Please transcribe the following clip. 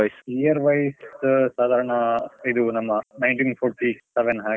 year wise , ಸಾದಾರ್ಣ ಇದು ನಮ್ಮ nineteen forty seven ಹಾಗೆ.